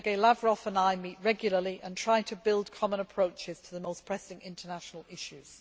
Sergey Lavrov and I meet regularly and try to build common approaches to the most pressing international issues.